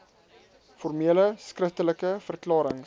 formele skriftelike verklarings